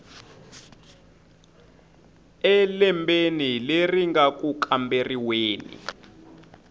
elembeni leri nga ku kamberiweni